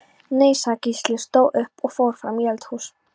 Nei, sagði Gísli, stóð upp og fór fram í eldhús.